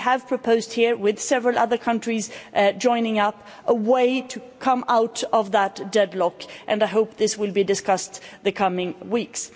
We have proposed here, with several other countries joining up, a way to come out of that deadlock and I hope this will be discussed in the coming weeks.